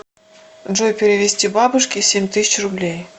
джой перевести бабушке семь тысяч рублей